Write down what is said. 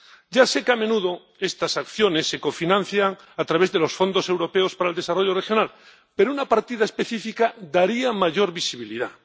Ya sé que, a menudo, estas acciones se cofinancian a través de los fondos europeos para el desarrollo regional, pero una partida específica daría mayor visibilidad.